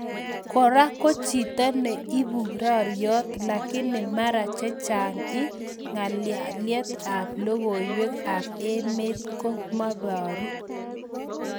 Kora ko chito ne ibu raryot lakini mara chechang ing ngalalyet ap logoiwek ap emet ko meparu.